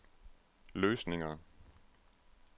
løsninger